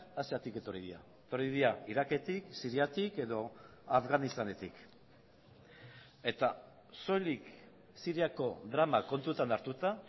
asiatik etorri dira etorri dira iraketik siriatik edo afganistanetik eta soilik siriako drama kontutan hartuta